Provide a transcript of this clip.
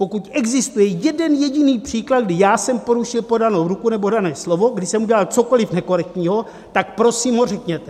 Pokud existuje jeden jediný příklad, kdy já jsem porušil podanou ruku nebo dané slovo, kdy jsem udělal cokoli nekorektního, tak prosím ho řekněte!